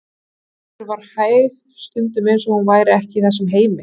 Gerður var hæg, stundum eins og hún væri ekki í þessum heimi.